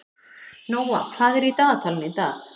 Nóa, hvað er í dagatalinu í dag?